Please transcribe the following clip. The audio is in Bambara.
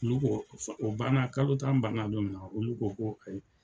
Olu ko o banna kalo tan banna don min na olu ko ko ayi.